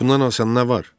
Bundan asan nə var?